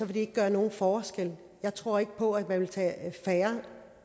det vil gøre nogen forskel jeg tror ikke på at man vil tage færre